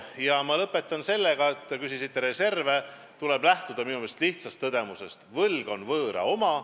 Ja ma lõpetan sellega – te küsisite reservide kohta –, et minu meelest tuleb lähtuda lihtsast tõdemusest: võlg on võõra oma.